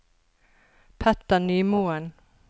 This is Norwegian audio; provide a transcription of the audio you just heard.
Petter Nymoen